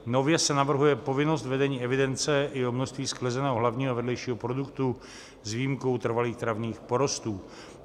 Nově se navrhuje povinnost vedení evidence i o množství sklizeného hlavního a vedlejšího produktu s výjimkou trvalých travních porostů.